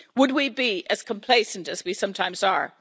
Would we be as complacent as we sometimes are?